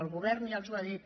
el govern ja els ho ha dit